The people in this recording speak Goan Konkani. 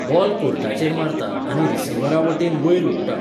बॉल कोर्टाचेर मारता आनी रिसीव्हरा वटेन वयर उडटा.